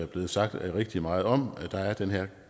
blevet sagt rigtig meget om der er den her